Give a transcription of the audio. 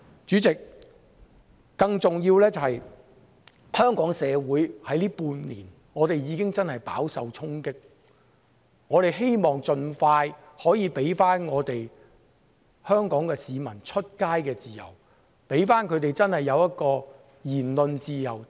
主席，更重要的是，香港社會在最近半年真的已經飽受衝擊，我們希望可以盡快回復市民外出的自由，讓他們真的擁有言論自由。